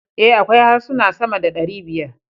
A, akwai harsuna sama da ɗari biyar